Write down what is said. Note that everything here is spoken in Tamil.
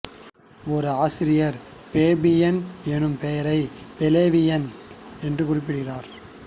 ஓர் ஆசிரியர் ஃபேபியன் என்னும் பெயரை ஃப்ளேவியன் என்று குறிப்பிடுகிறார்